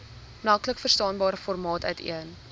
maklikverstaanbare formaat uiteen